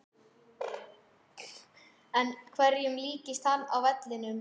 En hverjum líkist hann á vellinum?